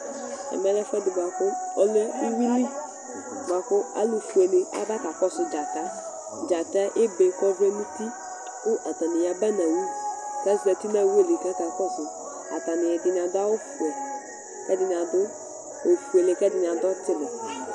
Ɛmɛlɛ ɛfʋɛdi bʋakʋ ɔlɛ ʋwʋili bʋakʋ alu fʋe ni aba kakɔsu dzata Dzata yɛ ebe kʋ ɔvlɛ nʋ ʋti kʋ atani aba nʋ owu kʋ azɛti nʋ owu yɛ li kʋ akakɔsu Atani, ɛdiní adu vɛ kʋ ɛdiní ɔfʋele kʋ ɛdiní adu ɔtili